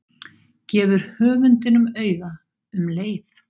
Gefur höfundinum auga um leið.